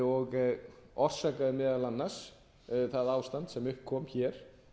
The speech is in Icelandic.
og orsakaði meðal annars það ástand sem upp kom hér